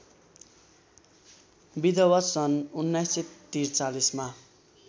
विधवा सन् १९४३ मा